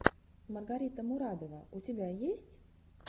маргарита мурадова у тебя есть